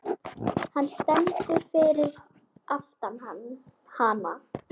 Hann stendur fyrir aftan hana.